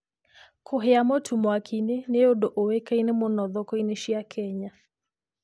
Kũhĩa mũtu mwaki-inĩ nĩ ũndũ ũĩkaine mũno thoko-inĩ cia Kenya.